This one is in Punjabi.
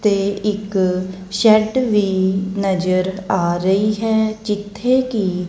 ਤੇ ਇੱਕ ਸ਼ੈਡ ਵੀ ਨਜ਼ਰ ਆ ਰਹੀ ਹੈ ਜਿੱਥੇ ਕਿ।